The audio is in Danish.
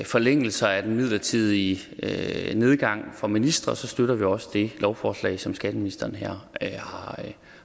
forlængelser af den midlertidige nedgang i vederlaget for ministre så støtter vi også det lovforslag som skatteministeren her